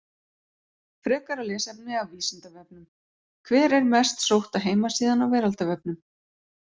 Frekara lesefni af Vísindavefnum: Hver er mest sótta heimasíðan á veraldarvefnum?